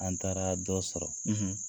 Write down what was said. An taaraa dɔ sɔrɔ